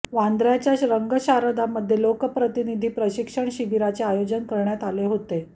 वांद्र्याच्या रंगशारदामध्ये लोकप्रतिनिधी प्रशिक्षण शिबीराचे आयोजन करण्यात आले होते